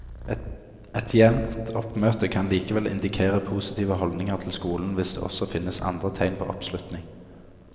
Et jevnt oppmøte kan likevel indikere positive holdninger til skolen hvis det også finnes andre tegn på oppslutning.